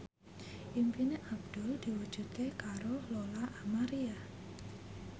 impine Abdul diwujudke karo Lola Amaria